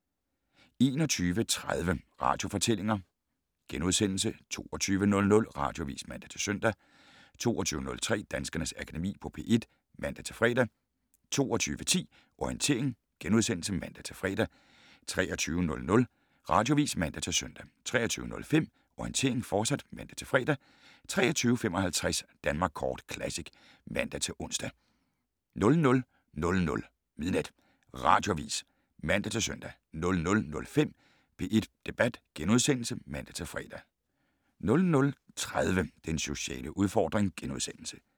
21:30: Radiofortællinger * 22:00: Radioavis (man-søn) 22:03: Danskernes Akademi på P1 (man-fre) 22:10: Orientering *(man-fre) 23:00: Radioavis (man-søn) 23:05: Orientering, fortsat (man-fre) 23:55: Danmark Kort Classic (man-ons) 00:00: Radioavis (man-søn) 00:05: P1 Debat *(man-fre) 00:30: Den sociale udfordring *